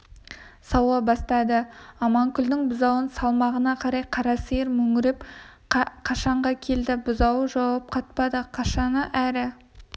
сауа бастады аманкүлдің бұзауын салмағаны қалай қара сиыр мөңіреп қашаға келді бұзауы жауап қатпады қашаны әрі